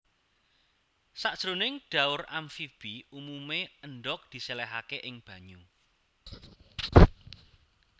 Sajroning dhaur amfibi umumé endhog disèlèhaké ing banyu